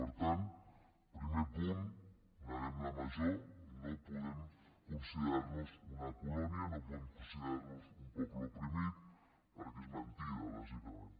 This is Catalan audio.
per tant primer punt neguem la major no podem considerar nos una colònia no podem considerar nos un poble oprimit perquè és mentida bàsicament